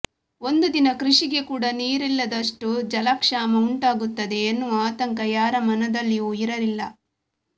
ಒಂದು ದಿನ ಕೃಷಿಗೆ ಕೂಡ ನೀರಿಲ್ಲದಷ್ಟು ಜಲಕ್ಷಾಮ ಉಂಟಾಗುತ್ತದೆ ಎನ್ನುವ ಆತಂಕ ಯಾರ ಮನದಲ್ಲಿಯೂ ಇರಲಿಲ್ಲ